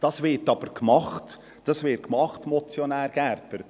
Das wird aber gemacht, das wird gemacht, Motionär Gerber.